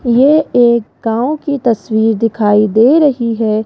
ये एक गांव की तस्वीर दिखाई दे रही है।